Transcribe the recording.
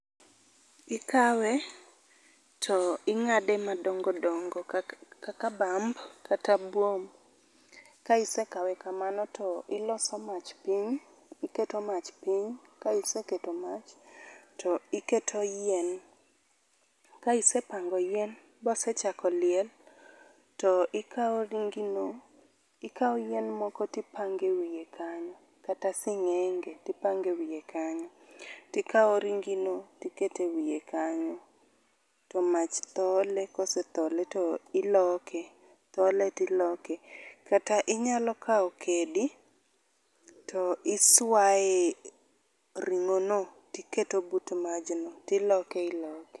Ikawe to ing'ade madongodongo kaka kaka bamb kata buomb. Ka isekawe kamano to iloso mach piny iketo mach piny ka iseketo mach , to iketo yien. Ka isepango yien bosechako liel to ikawo ringi no ikawo yien moko to ipange iye kanyo kata sing'enge tipange wiye kanyo tikawo ringi no tikete wiye kanyo to mach thole kosethole to iloke thole tiloke, kata inyalo kawo kidi to iswaye ring'o no tiketo but maj no tiloke iloke.